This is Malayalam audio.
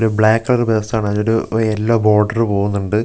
ഒരു ബ്ലാക്ക് കളറ് പെഴ്സ് ആണ് അതിലൊരു വ് യെല്ലോ ബോർഡറ് പോകുന്നുണ്ട് ഗ്ലാസ്സ് കൊ--